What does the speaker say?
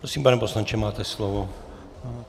Prosím, pane poslanče, máte slovo.